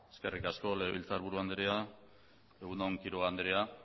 eskerrik asko legebiltzar buru andrea egun on quiroga andrea